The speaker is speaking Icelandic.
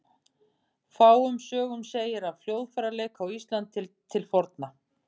Fáum sögum segir af hljóðfæraleik á Íslandi til forna.